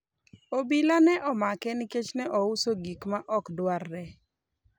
obila ne omake nikech ne ouso gik ma ok dwarre